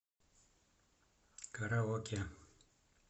караоке